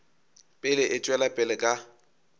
pele e tšwela pele ka